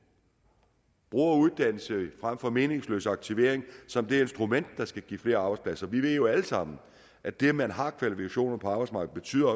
og bruger uddannelse frem for meningsløs aktivering som det instrument der skal give flere arbejdspladser vi ved jo alle sammen at det at man har kvalifikationer på arbejdsmarkedet betyder